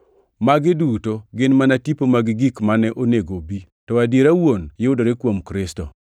Magi duto gin mana tipo mag gik mane onego obi, to adiera wuon yudore kuom Kristo.